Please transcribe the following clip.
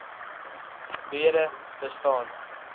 breede wbg bestaan